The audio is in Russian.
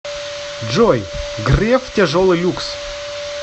джой греф тяжелый люкс